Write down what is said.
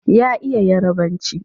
Ya iya Yarabanci.